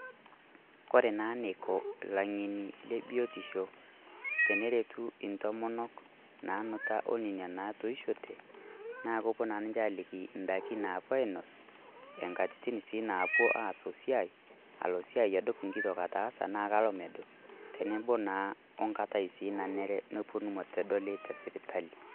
Kore naa neiko laing'eni le biotisho teneretuu entomonok nanutaa o nenia natoishote naa kopoo naa ninchee aliki ndaaki naipoo ainos, enkatiti sii napoo aas o siai alo siai aduup nkito ataasa na kaloo meduup, teneboo naa onkatai sii naneree nepoonu metodol te sipitali.